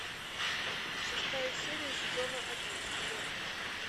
шестая серия сезона один метод